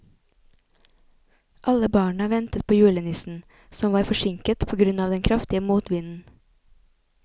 Alle barna ventet på julenissen, som var forsinket på grunn av den kraftige motvinden.